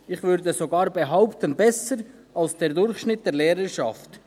Ich würde sogar behaupten, besser ausgebildet als der Durchschnitt der Lehrerschaft.